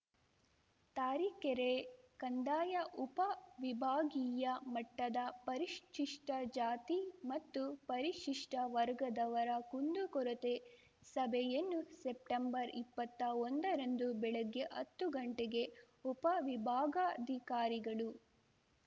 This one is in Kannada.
ತರೀಕೆರೆ ಕಂದಾಯ ಉಪ ವಿಭಾಗೀಯ ಮಟ್ಟದ ಪರಿಶಿಷ್ಟಜಾತಿ ಮತ್ತು ಪರಿಶಿಷ್ಟವರ್ಗದವರ ಕುಂದುಕೊರತೆ ಸಭೆಯನ್ನು ಸೆಪ್ಟೆಂಬರ್ ಇಪ್ಪತ್ತಾ ಒಂದ ರಂದು ಬೆಳಗ್ಗೆ ಹತ್ತು ಗಂಟೆಗೆ ಉಪ ವಿಭಾಗಾಧಿಕಾರಿಗಳು